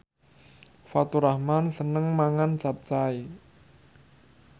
Faturrahman seneng mangan capcay